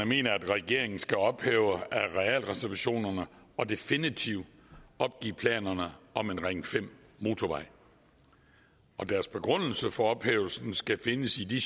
mener at regeringen skal ophæve arealreservationerne og definitivt opgive planerne om en ring fem motorvej deres begrundelse for ophævelsen skal findes i de